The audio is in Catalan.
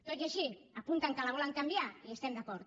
tot i així apunten que la volen canviar hi estem d’acord